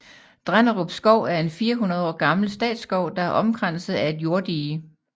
Drenderup Skov er en 400 år gammel statsskov der er omkranset af et jorddige